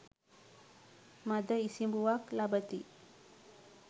මද ඉසිඹුවක් ලබති.